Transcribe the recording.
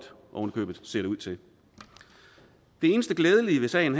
ser det ud til det eneste glædelige ved sagen